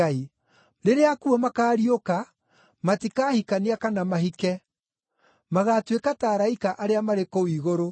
Rĩrĩa akuũ makaariũka, matikahikania kana mahike; magaatuĩka ta araika arĩa marĩ kũu igũrũ.